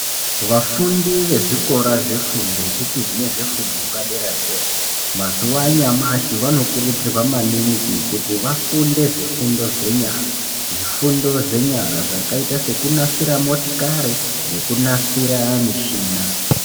Vafundi ve zvikora zve fundo yechipiri nezve fundo yepa dera dera mazuva anyamashi vano kurudzirwa maningi kuti vafunde zvifundo zve nyara zvifundo zve nyara zvakaita seku nasira motikari neku nasira mishina.